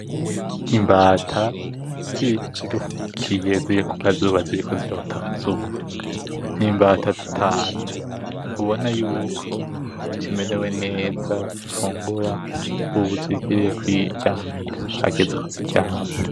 Imbata ziruhukiye zivuye kukazuba, ziriko zirota akazuba, ni imbata zitanu ubona yuko zimerewe neza zifungura ubu zigiye kwiryamira , hageze ko ziryama.